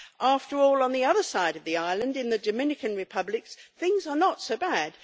After all, on the other side of the island, in the Dominican Republic things are not so bad.